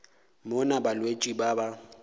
mo na balwetši ba ba